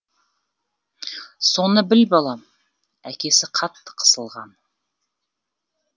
соны біл балам әкесі қатты қысылған